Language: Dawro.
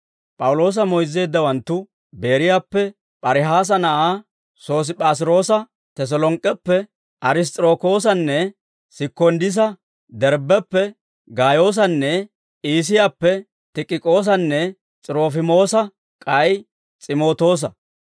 P'awuloosa moyzzeeddawanttu, Beeriyaappe P'arihaasa na'aa Sosiip'aas'iroosa, Teselonk'k'eppe Ariss's'irokoosanne Sikonddisa, Derbbeppe Gaayoosanne Iisiyaappe Tikik'oosanne S'irofimoosa, k'ay S'imootoosa.